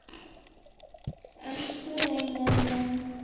Elsku Reynir minn.